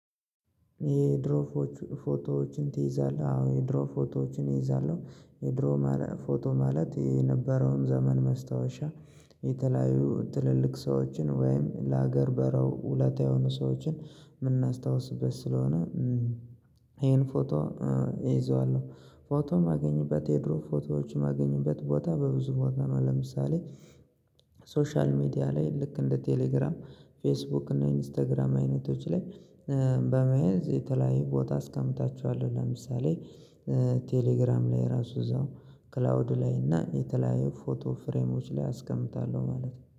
የድሮ ፎቶዎችን ትይዛለህ? አዎ የድሮ ፎቶዎችን እይዛለሁ የድሮ ፎቶ ማለት የነበረውን ዘመን ማስታወሻ የተለያዩ ትልልቅ ሰዎችን ወይም ለሀገር በረው ውለታ የሆኑ ሰዎችን የምናስታውስበት ስለሆነ። ይሄን ፎቶ እይዘዋለሁ ፎቶም የማገኝበት የድሮ ፎቶዎች የማገኝበት ቦታ በብዙ ቦታ ነው። ለምሳሌ ሶሻል ሚዲያ ላይ ልክ እንደ ቴሌግራም ፌስቡክ እና ኢንስታግራም አይነቶች ላይ በመያዝ የተለያየ ቦታ አስቀምጣቸዋለሁ። ለምሳሌ ቴሌግራም ላይ ራሱ እዛው ክላውድ ላይ እና የተለያየ ፎቶ ፍሬሞች ላይ አስቀምጣለሁ ማለት ነው